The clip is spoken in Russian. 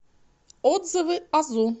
отзывы азу